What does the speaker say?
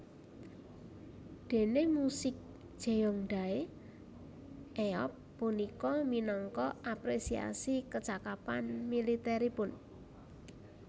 Déné musik Jeongdae eop punika minangka apresiasi kecakapan militeripun